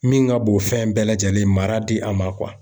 Min ka bon fɛn bɛɛ lajɛlen, mara di a ma